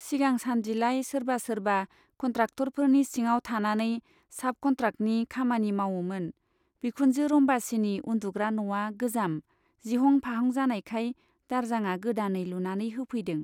सिगांसान्दिलाय सोरबा सोरबा कन्ट्राक्टरफोरनि सिङाव थानानै साब कन्ट्राक्टनि खामानि मावोमोन बिखुनजो रम्बासीनि उन्दुग्रा न'आ गोजाम , जिहं फाहं जानायखाय दारजांआ गोदानै लुनानै होफैदों।